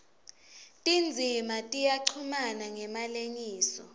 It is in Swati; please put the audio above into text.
tindzima tiyachumana ngemalengiso